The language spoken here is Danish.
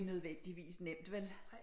Nødvendigvis nemt vel